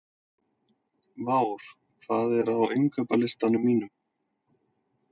Vár, hvað er á innkaupalistanum mínum?